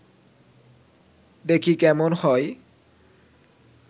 দেখি কেমন হয়